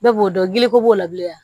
Bɛɛ b'o dɔn giliko b'o la bilen